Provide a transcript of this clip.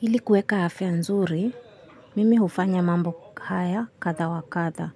Ili kueka afya nzuri, mimi hufanya mambo haya kadha wa kadha.